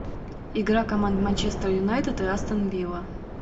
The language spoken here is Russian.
игра команд манчестер юнайтед и астон вилла